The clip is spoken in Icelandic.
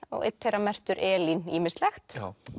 og einn þeirra merktur Elín ýmislegt